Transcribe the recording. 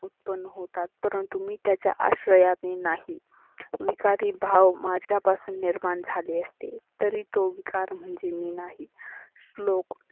उत्पन्न होतात परंतु मी त्याच्या आश्रयाने नाही. विकारी भाव माझ्या पासून निर्मान झाले असते. तरी तो विकार म्हणजे मी नाही. श्लोक